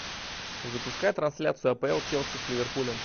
запускай трансляцию апл челси с ливерпулем